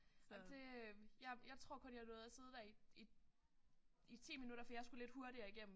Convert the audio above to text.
Ej det jeg jeg tor kun jeg nåede at sidde der i i i 10 minutter for jeg skulle lidt hurtigere igennem